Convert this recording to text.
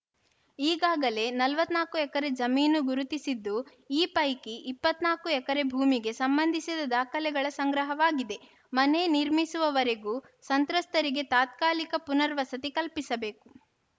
ಈಗಾಗಲೇ ನಲವತ್ತ್ ನಾಲ್ಕು ಎಕರೆ ಜಮೀನು ಗುರುತಿಸಿದ್ದು ಈ ಪೈಕಿ ಇಪ್ಪತ್ತ್ ನಾಲ್ಕು ಎಕರೆ ಭೂಮಿಗೆ ಸಂಬಂಧಿಸಿದ ದಾಖಲೆಗಳ ಸಂಗ್ರಹವಾಗಿದೆ ಮನೆ ನಿರ್ಮಿಸುವವರೆಗೂ ಸಂತ್ರಸ್ತರಿಗೆ ತಾತ್ಕಾಲಿಕ ಪುನರ್ವಸತಿ ಕಲ್ಪಿಸಬೇಕು